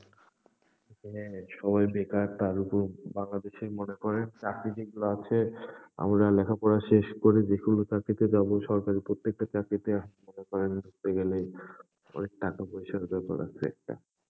এখানে সবাই বেকার, তার উপর বাংলাদেশে মনে করেন চাকরি যেগুলো আছে, আমরা লেখাপড়া শেষ করে যেকোনো চাকরি তে যাবো, সরকারি প্রত্যেকটা চাকরি তে মনে করেন, হতে গেলে, অনেক টাকা পয়সার ব্যাপার আছে একটা।